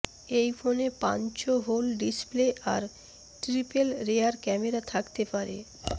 এই ফোনে punch hole display আর ট্রিপেল রেয়ার ক্যামেরা থাকতে পারে